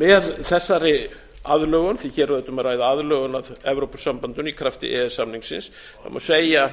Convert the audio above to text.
með þessari aðlögun því hér er auðvitað um að ræða aðlögun að evrópusambandinu í krafti e e s samningsins má segja